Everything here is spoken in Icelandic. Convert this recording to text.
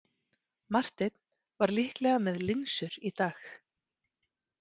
Marteinn var líklega með linsur í dag.